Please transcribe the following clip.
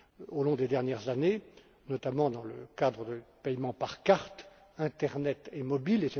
au cours des dernières années, notamment dans le cadre des paiements par carte, internet et mobile.